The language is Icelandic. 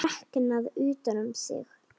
Þreknað utan um sig.